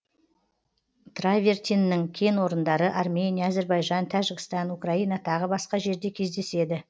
травертиннің кен орындары армения әзірбайжан тәжікстан украина тағы басқа жерде кездеседі